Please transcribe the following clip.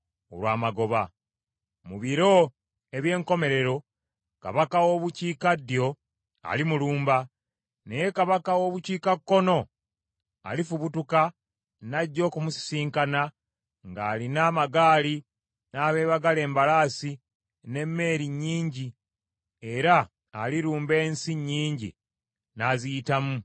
“Mu biro eby’enkomerero kabaka w’obukiikaddyo alimulumba, naye kabaka w’obukiikakkono alifubutuka n’ajja okumusisinkana ng’alina amagaali n’abeebagala embalaasi, n’emmeeri nnyingi, era alirumba ensi nnyingi n’aziyitamu ng’embuyaga.